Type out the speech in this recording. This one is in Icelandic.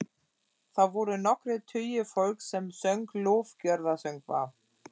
Þar voru nokkrir tugir fólks sem söng lofgjörðarsöngva.